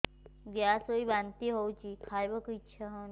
gas ହୋଇ ବାନ୍ତି ହଉଛି ଖାଇବାକୁ ଇଚ୍ଛା ହଉନି